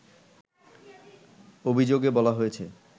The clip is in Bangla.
অভিযোগে বলা হয়েছে